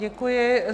Děkuji.